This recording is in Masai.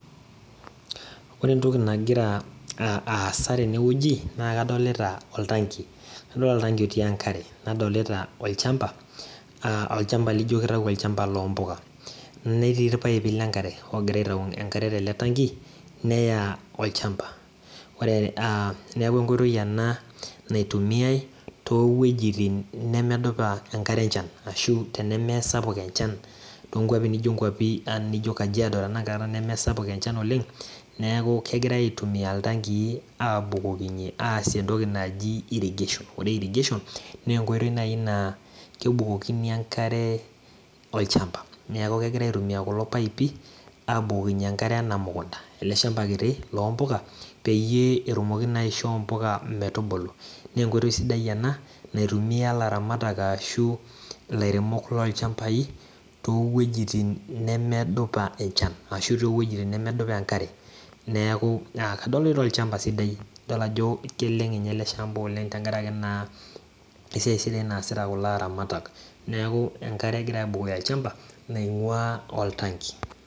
Ore entoku nagiraaasa tenewueji nadilta oltanki otii enkare nadolita olchamba aa olchamba lijo kitau olchamba lompuja netii irpaipi lenkare neya olchamba neaku enkoitoi ena naitumiai towuejitin nemedupa enkare enchan ashu tenemesapuk enchan tonkwapi nijo kajiado aang nemesapuk enchan oleng neaku kegira abukoki iltangii aasie entoki naji irrigation na enkoitoi nai na k bukokini enkare olchamba eleshamba kiti lompuka na enkoitoi sidai ena naitumia laramatak ashu lairemok lolchambai towuejitin nemedupa enkare neaku kadolita olchamba sidsi idol ajo kelelkng esidai tenkaraki esiai sidai naasita oltangi